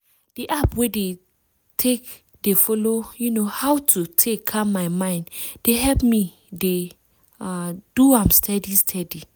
di app wey dey tack dey follow um how to take calm my mind dey help me dey ah! do am steady steady.